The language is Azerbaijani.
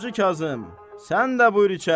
Hacı Kazım, sən də buyur içəri.